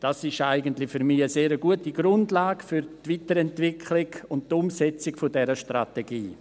Für mich ist dies eigentlich eine sehr gute Grundlage für die Weiterentwicklung und Umsetzung dieser Strategie.